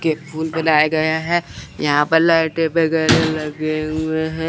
के फूल बनाए गए हैं यहां पर लाइटें वगैरह लगे हुए हैं।